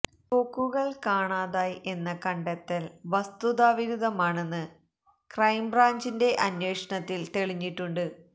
തോക്കുകള് കാണാതായ് എന്ന കണ്ടെത്തല് വസ്തുതാ വിരുദ്ധമാണെന്ന് ക്രൈംബ്രാഞ്ചിന്റെ അന്വേഷണത്തില് തെളിഞ്ഞിട്ടുണ്ട്